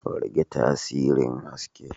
Rage tasirin haske.